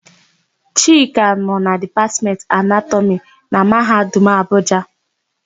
Chika nọ na Dipatmentị Anatọmị na Mahadum Abuja.